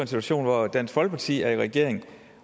situation hvor dansk folkeparti er i regering